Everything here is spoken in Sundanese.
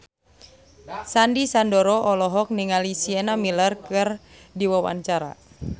Sandy Sandoro olohok ningali Sienna Miller keur diwawancara